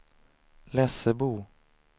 Lessebo